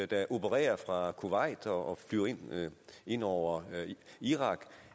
der opererer fra kuwait og flyver ind over irak